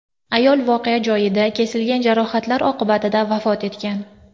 Ayol voqea joyida, kesilgan jarohatlar oqibatida vafot etgan.